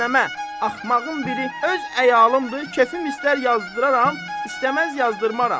Axmağın biri öz əyalımdır, kefim istər yazdıraram, istəməz yazdırmaram.